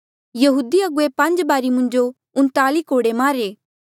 यहूदी अगुवे पांज बारी मुंजो उन्ताली कोड़े मारे